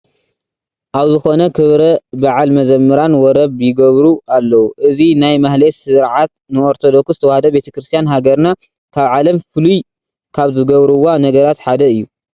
ኣብ ዝኾነ ክብረ በዓል መዘምራን ወረብ ይገብሩ ኣለዉ፡፡ እዚ ናይ ማህሌት ስርዓት ንኦርቶዶክስ ተዋህዶ ቤተ ክርስቲያን ሃገርና ካብ ዓለም ፍሉይ ካብ ዝገብርዋ ነገራት ሓደ እዩ፡፡